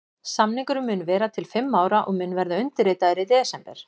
Samningurinn mun vera til fimm ára og mun verða undirritaður í desember.